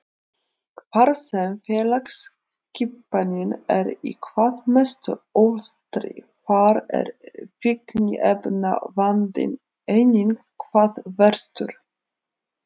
Þar sem félagsskipanin er í hvað mestum ólestri þar er fíkniefnavandinn einnig hvað verstur.